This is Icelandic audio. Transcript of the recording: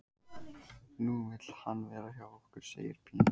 Nú vill hann vera hjá okkur, segir Pína.